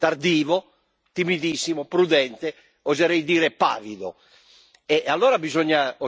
Qualche tweet, timido, tardivo, timidissimo, prudente, oserei dire pavido!